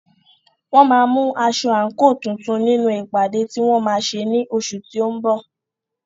Wọ́n máa mú aṣọ/àǹkò tuntun nínú ìpàdé tí wọ́n máa ṣe ní oṣù tí ó ń bọ̀.